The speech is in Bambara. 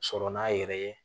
Sɔrɔ n'a yɛrɛ ye